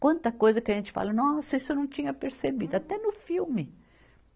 Quanta coisa que a gente fala, nossa, isso eu não tinha percebido, até no filme.